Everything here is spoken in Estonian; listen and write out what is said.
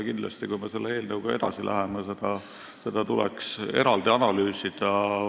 Kindlasti, kui me selle eelnõuga edasi läheme, tuleks seda eraldi analüüsida.